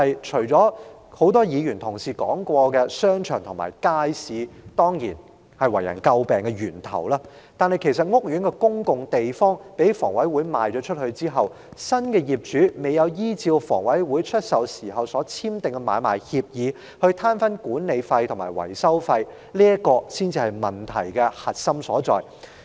除了多位議員提及商場及街市為人詬病的問題外，屋苑公共地方被香港房屋委員會出售後，新業主未有依照房委會出售時所簽訂的買賣協議攤分管理費和維修費，這才是問題的核心所在。